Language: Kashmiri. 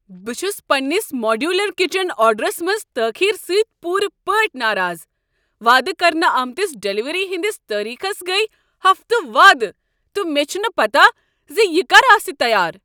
بہٕ چھس پننس ماڈیولر کچن آرڈرس منٛز تاخیر سۭتۍ پوٗرٕ پٲٹھہِ ناراض۔ وعدٕ کرنہٕ آمتس ڈلیوری ہٕنٛدس تٲریخس گٔیہِ ہفتہٕ وادٕ، تہٕ مےٚ چھنہٕ پتاہ زِ یہ کر آسِہ تیار۔